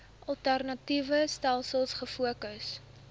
alternatiewe stelsels gefokus